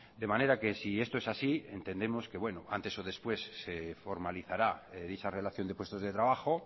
de manera que si esto es así entendemos que bueno antes o después se formalizará dicha relación de puestos de trabajo